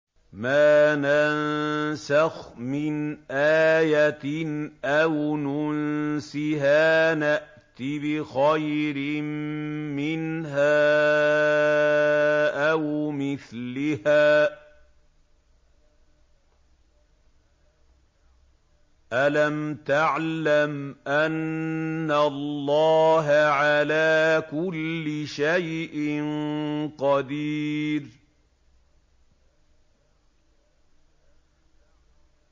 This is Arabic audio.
۞ مَا نَنسَخْ مِنْ آيَةٍ أَوْ نُنسِهَا نَأْتِ بِخَيْرٍ مِّنْهَا أَوْ مِثْلِهَا ۗ أَلَمْ تَعْلَمْ أَنَّ اللَّهَ عَلَىٰ كُلِّ شَيْءٍ قَدِيرٌ